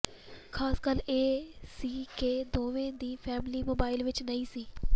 ਖ਼ਾਸ ਗੱਲ ਇਹ ਸੀ ਕਿ ਦੋਵੇਂ ਦੀ ਫੈਮਿਲੀ ਮੁੰਬਈ ਵਿਚ ਨਹੀਂ ਸੀ